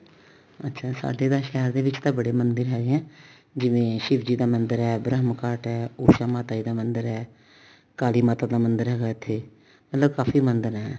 ਅੱਛਾ ਸਾਡੇ ਤਾਂ ਸ਼ਹਿਰ ਦੇ ਵਿੱਚ ਤਾਂ ਬੜੇ ਮੰਦਰ ਹੈਗੇ ਆ ਜਿਵੇਂ ਸ਼ਿਵ ਜੀ ਦਾ ਮੰਦਰ ਹੈ ਬ੍ਰਹਮ ਘਾਟ ਹੈ ਉਸ਼ਾ ਮਾਤਾ ਜੀ ਦਾ ਮੰਦਰ ਹੈ ਕਾਲੀ ਮਾਤਾ ਦਾ ਮੰਦਰ ਹੈਗਾ ਇੱਥੇ ਮਤਲਬ ਕਾਫੀ ਮੰਦਰ ਹੈ